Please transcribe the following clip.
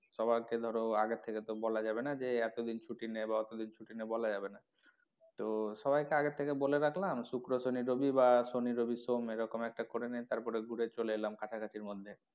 সবাই কে ধরো আগের থেকে তো বলা যাবে না যে এতো দিন ছুটি নে বা অত দিন ছুটি নে বলা যাবে না তো সবাই কে আগের থেকে বলে রাখলাম শুক্র শনি রবি বা শনি রবি সোম এরকম একটা করেনে তারপরে ঘুরে চলে এলাম কাছাকাছির মধ্যে,